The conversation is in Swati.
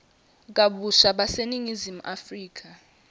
kabusha baseningizimu afrika